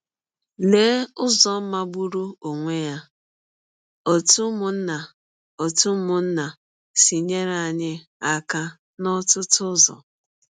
Lee ụzọ magbụrụ ọnwe ya ‘ ọ̀tụ ụmụnna ọ̀tụ ụmụnna ’ si nyere anyị aka n’ọtụtụ ụzọ!